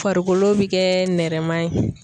Farikolo bɛ kɛ nɛrɛma ye.